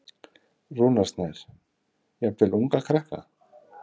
Rúnar Snær: Jafnvel unga krakka?